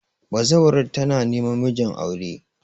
bazawarar tana neman mijin aure